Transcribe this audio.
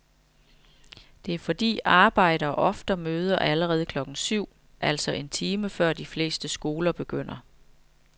Det er fordi arbejdere ofte møder allerede klokken syv, altså en time før de fleste skoler begynder.